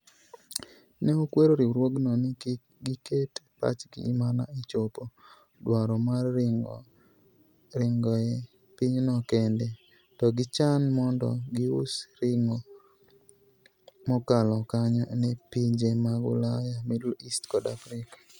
Ne okwero riwruogno ni kik giket pachgi mana e chopo dwaro mar ring'o e pinyno kende, to gichan mondo gius ring'o mokalo kanyo ne pinje mag Ulaya, Middle East kod Afrika.